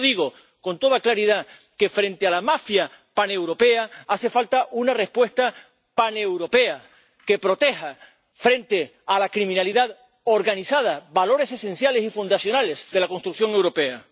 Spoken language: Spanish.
Y por eso digo, con toda claridad, que, frente a la mafia paneuropea, hace falta una respuesta paneuropea que proteja, frente a la delincuencia organizada, valores esenciales y fundacionales de la construcción europea.